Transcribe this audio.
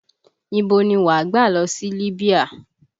Ibo ni wà gbà lọ sí Libya?